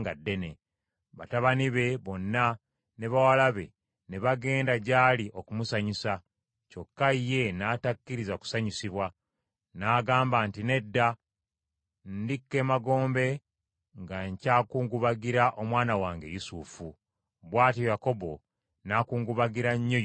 Batabani be bonna ne bawala be ne bagenda gy’ali okumusanyusa, kyokka ye n’atakkiriza kusanyusibwa. N’agamba nti, “Nedda, ndikka emagombe nga nkyakungubagira omwana wange Yusufu.” Bw’atyo Yakobo n’akungubagira nnyo Yusufu.